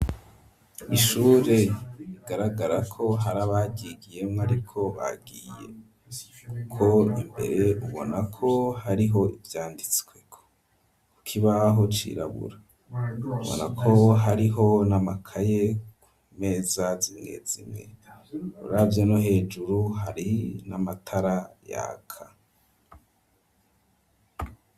Ishure igaragara ko, hari abaryigiyemwo, ariko bagiye kuko imbere ubona ko, hariho ivyanditswe ,kukibaho cirabura ,ubona ko hariho n'amakaye ku meza, z'imwezimwe uravye no hejuru hari n'amatara yaka.